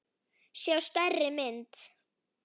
sjá stærri mynd.